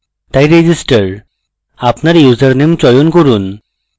তাই register আপনার username চয়ন করুন